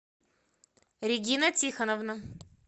регина тихоновна